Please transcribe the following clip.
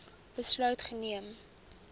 besluit geneem